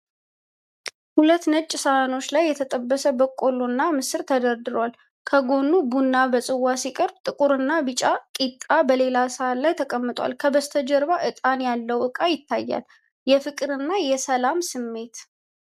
ሁለት ነጭ ሳህኖች ላይ የተጠበሰ በቆሎ እና ምስር ተደርድሯል። ከጎን ቡና በፅዋ ሲቀርብ፣ ጥቁርና ቢጫ ቂጣ በሌላ ሰሃን ላይ ተቀምጧል። ከበስተጀርባ ዕጣን ያለው ዕቃ ይታያል፤ የፍቅር እና የሰላም ስሜት!